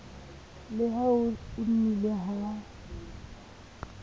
le ha ho nnile ha